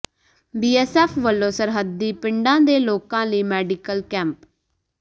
BSF ਵੱਲੋਂ ਸਰਹੱਦੀ ਪਿੰਡਾਂ ਦੇ ਲੋਕਾਂ ਲਈ ਮੈਡੀਕਲ ਕੈਂਪ